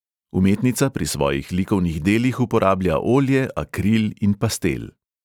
Umetnica pri svojih likovnih delih uporablja olje, akril in pastel.